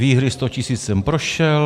Výhry 100 tisíc jsem prošel.